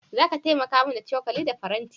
Zaka taimaka min da cokali da faranti?